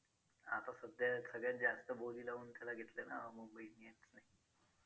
आता सध्या सगळ्यात जास्त बोली लावून त्याला घेतलं ना mumbai indians ने